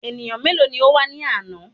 Ènìyàn mélòó ní o wá ní àná?